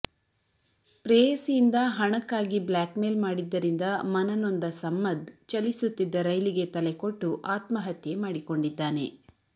ಪ್ರೇಯಸಿಯಿಂದ ಹಣಕ್ಕಾಗಿ blackmail ಮಾಡಿದ್ದರಿಂದ ಮನನೊಂದ ಸಮ್ಮದ್ ಚಲಿಸುತ್ತಿದ್ದ ರೈಲಿಗೆ ತಲೆಕೊಟ್ಟು ಆತ್ಮಹತ್ಯೆ ಮಾಡಿಕೊಂಡಿದ್ದಾನೆ